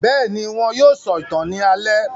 Bẹ́ẹ̀ni, wọn yóò sọ̀tàn ní alẹ́